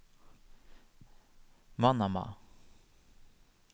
Manama